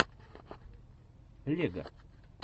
лего